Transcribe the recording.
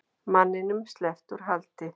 Manninum sleppt úr haldi